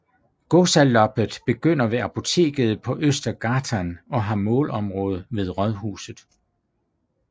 Gåsaloppet begynder ved Apoteket på Östergatan og har målområde ved Rådhuset